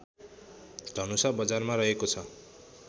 धनुषा बजारमा रहेको छ